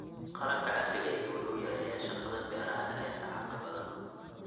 Qalabka casriga ahi wuxuu yareeyaa shaqada beeraha ee tacabka badan.